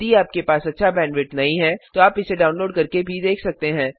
यदि आपके पास अच्छा बैंडविड्थ नहीं है तो आप इसे डाउनलोड करके देख सकते हैं